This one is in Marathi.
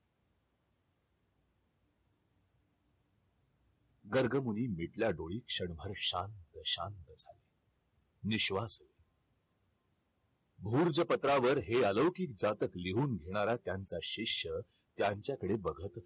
गर्गमुनी मिटल्या डोळी क्षणभर शांत शांत निश्वास भूर्ज पत्रावर हे अलौकिक जातक लिहून घेणारा त्यांचा शिष्य त्यांच्याकडे बघतच